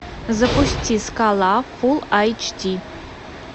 запусти скала фул айч ди